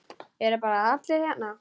Eru bara allir hérna?